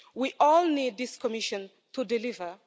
We all need this Commission to deliver.